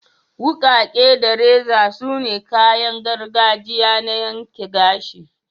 Wukake da reza sune kayan gargajiya na yanke gashi.